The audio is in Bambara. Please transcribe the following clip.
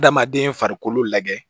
Adamaden farikolo lajɛ